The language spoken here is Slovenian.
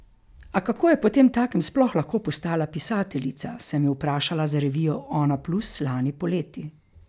A kako je potemtakem sploh lahko postala pisateljica, sem jo vprašala za revijo Onaplus lani poleti.